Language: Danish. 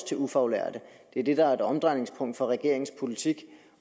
til ufaglærte det er det der er et omdrejningspunkt for regeringens politik